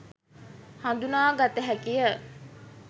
හඳුනා ගත හැකිය